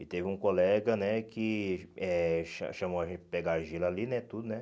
E teve um colega, né, que eh cha chamou a gente para pegar argila ali, né, tudo, né.